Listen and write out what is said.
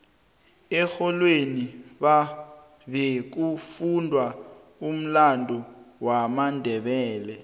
erholweni bekufundwa umlando wamandebele